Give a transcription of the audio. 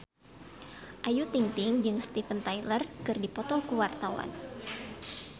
Ayu Ting-ting jeung Steven Tyler keur dipoto ku wartawan